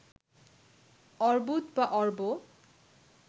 অর্বুদ বা অর্ব